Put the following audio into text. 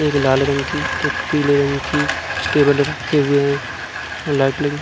एक लाल रंग की एक पीले रंग की कुछ टेबल रखे हुए हैं और लाइटलिंग --